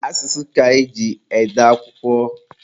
Asụsụ ka eji ede akwụkwọ.